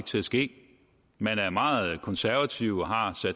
til at ske man er meget konservativ og har